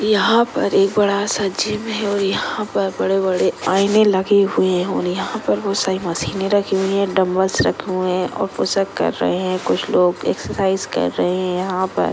यहा पर एक बड़ा सा जिम है और यहा पर बड़े बड़े आईने लगे हुए होनी यहा पर बहुत सारी मसीने रखी हुई है डम्ब्बेल्स रखे हुए है और पुसउप कर रहे है कुछ लोग एक्सर्साइज़ कर रहे है यहाँ पर --